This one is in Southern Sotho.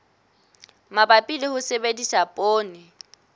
mabapi le ho sebedisa poone